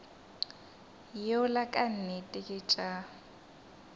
yola ka nnete ke tša